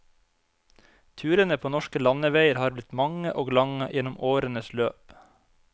Turene på norske landeveier har blitt mange og lange gjennom årenes løp.